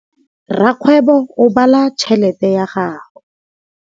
Rakgwêbô o bala tšheletê ya gagwe.